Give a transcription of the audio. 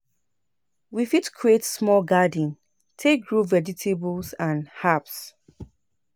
We fit create small garden take grow vegetables and herbs.